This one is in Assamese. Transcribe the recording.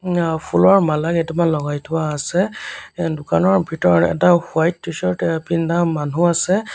আ ফুলৰ মালা কেইটামান লগাই থোৱা আছে অ দোকানৰ ভিতৰত এটা হোৱাইট টি-চাৰ্ট অ পিন্ধা মানুহ আছে।